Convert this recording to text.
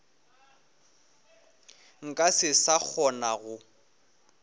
nka se sa kgona go